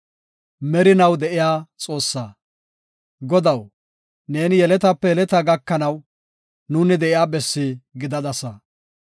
Godaw, neeni yeletape yeletaa gakanaw, nuuni de7iya bessi gidadasa.